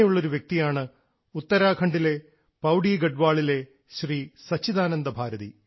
ഇങ്ങനെയുള്ള ഒരു വ്യക്തിയാണ് ഉത്തരാഖണ്ഡിലെ പൌഡിഗഡ്വാളിലെ ശ്രീ സച്ചിദാനന്ദ ഭാരതി